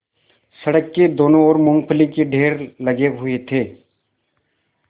सड़क की दोनों ओर मूँगफली के ढेर लगे हुए थे